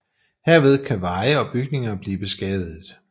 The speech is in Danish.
Herved kan veje og bygninger blive beskadiget